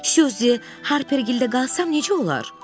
Suzi Harpergildə qalsam necə olar?